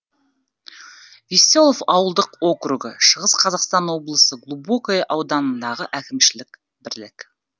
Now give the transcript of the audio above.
веселов ауылдық округі шығыс қазақстан облысы глубокое ауданындағы әкімшілік бірлік